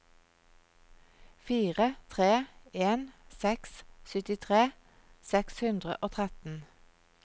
fire tre en seks syttitre seks hundre og tretten